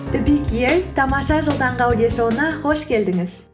тамаша жыл таңғы аудиошоуына қош келдіңіз